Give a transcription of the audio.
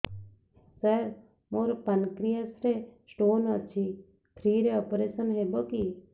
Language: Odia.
ସାର ମୋର ପାନକ୍ରିଆସ ରେ ସ୍ଟୋନ ଅଛି ଫ୍ରି ରେ ଅପେରସନ ହେବ କି